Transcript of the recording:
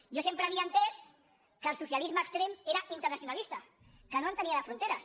jo sempre havia entès que el socialisme extrem era internacionalista que no entenia de fronteres